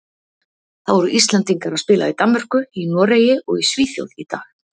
Það voru Íslendingar að spila í Danmörku, í Noregi og í Svíþjóð í dag.